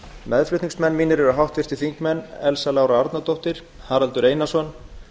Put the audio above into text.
meðflutningsmenn mínir eru háttvirtir þingmenn elsa lára arnardóttir haraldur einarsson